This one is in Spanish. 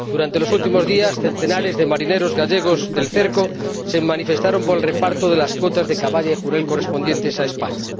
Durante los últimos días, centenares de marineros gallegos del cerco se manifestaron por el reparto de las cuotas de caballa y jurel correspondientes a España.